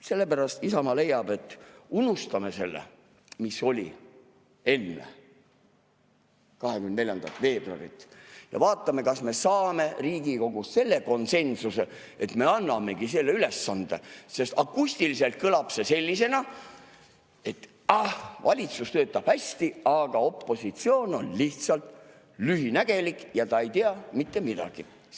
Sellepärast Isamaa leiab, et unustame selle, mis oli enne 24. veebruari, ja vaatame, kas me saame Riigikogus selle konsensuse, et me annamegi selle ülesande, sest akustiliselt kõlab see sellisena, et ah, valitsus töötab hästi, aga opositsioon on lihtsalt lühinägelik ega tea mitte midagi.